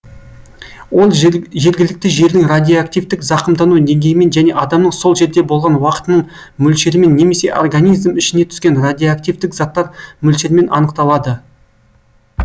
ол жергілікті жердің радиоактивтік зақымдану деңгейімен және адамның сол жерде болған уақытының мөлшерімен немесе организм ішіне түскен радиоактивтік заттар мөлшершен анықталады